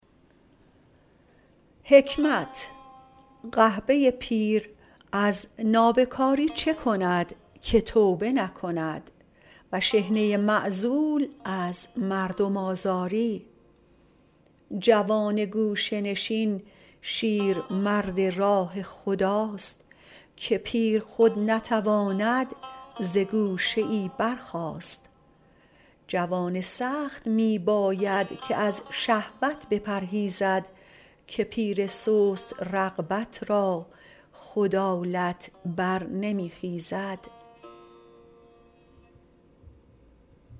قحبه پیر از نابکاری چه کند که توبه نکند و شحنه معزول از مردم آزاری جوان گوشه نشین شیرمرد راه خداست که پیر خود نتواند ز گوشه ای برخاست جوان سخت می باید که از شهوت بپرهیزد که پیر سست رغبت را خود آلت بر نمی خیزد